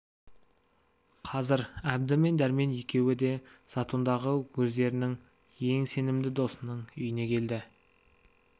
қазір әбді мен дәрмен екеуі де затондағы өздерінің ең сенімді досының үйіне келді